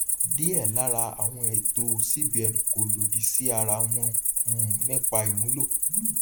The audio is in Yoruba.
diẹ lára àwọn ètò cbn kó lòdì sí ara wọn um nípa ìmúlò